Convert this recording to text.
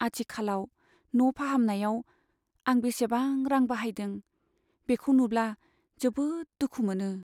आथिखालाव न' फाहामनायाव आं बेसेबां रां बाहायदों, बेखौ नुब्ला जोबोद दुखु मोनो।